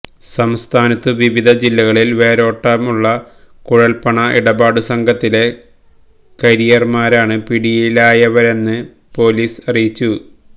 സംസ്ഥാനത്തു വിവിധ ജില്ലകളില് വേരോട്ടമുള്ള കുഴല്പ്പണ ഇടപാടുസംഘത്തിലെ കാരിയര്മാരാണ് പിടിയിലായവരെന്ന് പോലീസ് അറിയിച്ചു